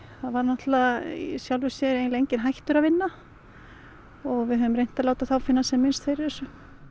var í sjálfu sér enginn hættur að vinna og við höfum reynt að láta þá finna sem minnst fyrir þessu